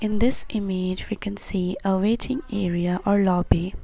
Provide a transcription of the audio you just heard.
In this image we can see a waiting area or lobby.